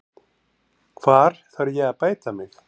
Hvar þarf ég að bæta mig?